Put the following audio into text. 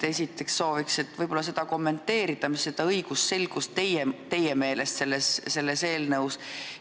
Esiteks sooviks, et te kommenteeriksite, kuidas teie meelest selles eelnõus õigusselgusega on.